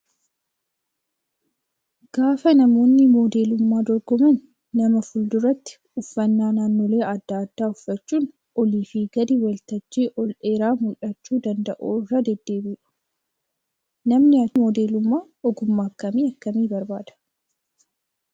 Gaafa namoonni modeelummaa dorgoman nama fuulduraatti uffannaa naannoolee adda addaa uffachuun olii fi gadi waltajjii ol dheeraa mul'achuu danda'u irra deddeebi'u. Namni achirraa ilaala. Hojiin modeelummaa ogummaa akkamii akkami barbaadaa?